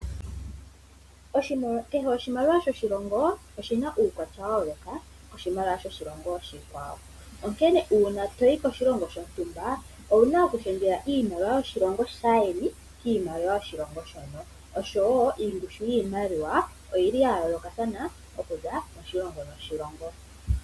Kehe oshimaliwa shoshilongo oshina uukwatya wa yooloka koshimaliwa shoshilongo oshikwawo. Onkene uuna toyi koshilongo shontumba owuna okulundululila iimaliwa yokoshilongo shaayeni kiimaliwa yoshilongo shono. Oshowo ongushu yiimaliwa oyili ya yoolokathana okuza moshilongo noshilongo.